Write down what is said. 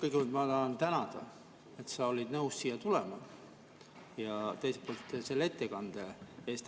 Kõigepealt ma tahan tänada, et sa olid nõus siia tulema, ja teiselt poolt selle ettekande eest.